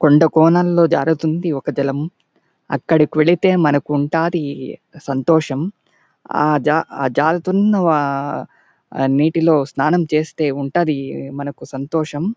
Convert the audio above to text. కొండా కోణల్లో జారుతుంది ఒక జలం అక్కడికి వెళ్తే మనకు ఉంటది సంతోషం ఆహ్ జారుతున్న ఆహ్ నీటిలో స్నానం చేస్తే ఉంటది మనకు సంతోషం.